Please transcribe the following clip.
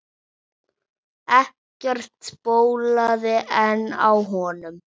Ekkert bólaði enn á honum.